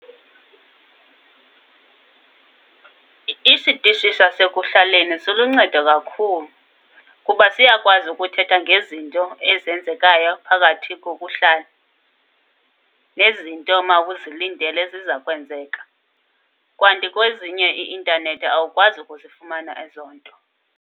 Isitishi sasekuhlaleni siluncedo kakhulu. Kuba siyakwazi ukuthetha ngezinto ezenzekayo phakathi kokuhlala nezinto omawuzilindele ezizakwenzeka. Kanti kwezinye, i-intanethi, awukwazi ukuzifumana ezo nto.